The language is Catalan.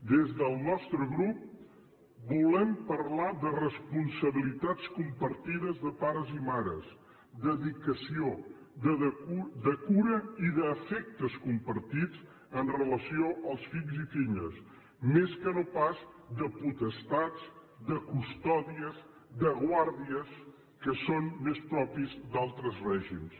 des del nostre grup volem parlar de responsabilitats compartides de pares i mares de dedicació de cura i d’afectes compartits amb relació als fills i filles més que no pas de potestats de custòdies de guàrdies que són més propis d’altres règims